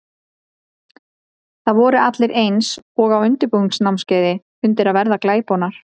Það voru allir eins og á undirbúningsnámskeiði undir að verða glæponar.